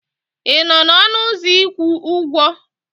Ị nọ n'ọnụ ụzọ ịkwụ ụgwọ?